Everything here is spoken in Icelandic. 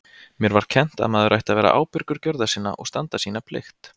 Mér var kennt að maður ætti að vera ábyrgur gjörða sinna og standa sína plikt.